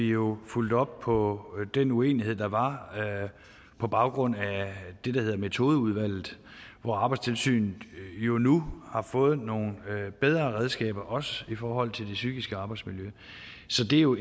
vi jo fulgte op på den uenighed der var på baggrund af det der hedder metodeudvalget hvor arbejdstilsynet jo nu har fået nogle bedre redskaber også i forhold til det psykiske arbejdsmiljø så det er jo